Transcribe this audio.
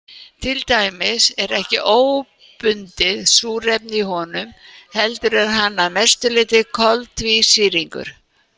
Til dæmis er ekkert óbundið súrefni í honum heldur er hann að mestu leyti koltvísýringur.